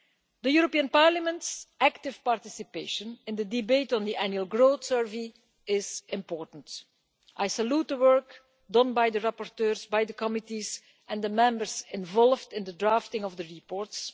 The European Parliament's active participation in the debate on the annual growth survey is important. I salute the work done by the rapporteurs, by the committees and the Members involved in the drafting of the reports.